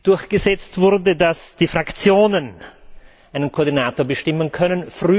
durchgesetzt wurde, dass die Fraktionen einen Koordinator bestimmen können.